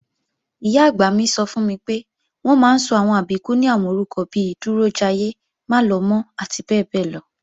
Ìyá-àgbà mi sọ fún mi pé, wọ́n máa ń sọ àwọn Àbíkú ní àwọn orúkọ bi Dúrójayé, Málọmọ́ àti bẹ́ẹ̀bẹ́ẹ́lọ